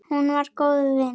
Hún var góður vinur.